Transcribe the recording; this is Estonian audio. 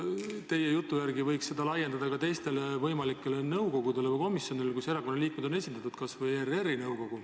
Teie jutu järgi võiks seda laiendada ka teistele nõukogudele ja komisjonidele, kus erakondade liikmed on esindatud, toon näiteks kas või ERR-i nõukogu.